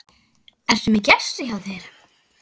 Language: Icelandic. Ertu með gest hjá þér